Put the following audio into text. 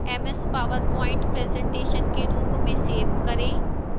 ms powerpoint presentation के रूप में सेव करें